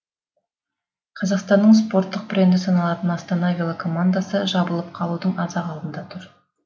қазақстанның спорттық бренді саналатын астана велокомандасы жабылып қалудың аз ақ алдында тұр